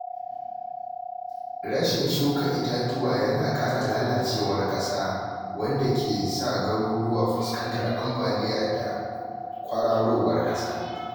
Rashin shuka itatuwa yana kara lalacewar ƙasa, wanda ke sa garuruwa fuskantar ambaliya da kwararowar ƙasa.